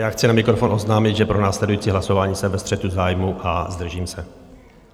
Já chci na mikrofon oznámit, že pro následující hlasování jsem ve střetu zájmů a zdržím se.